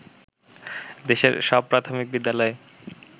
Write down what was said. দেশের সব প্রাথমিক বিদ্যালয়ে